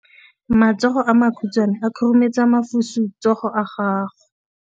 Matsogo a makhutshwane a khurumetsa masufutsogo a gago.